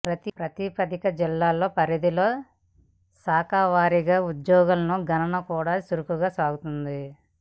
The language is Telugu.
ప్రతిపాదిత జిల్లాల పరిధిలో శాఖల వారీగా ఉద్యోగులను గణన కూడా చురుగ్గా సాగుతోంది